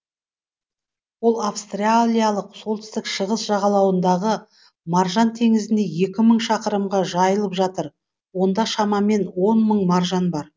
ол австралиялық солтүстік шығыс жағалауындағы маржан теңізінде екі мың шақырымға жайылып жатыр онда шамамен он мың маржан бар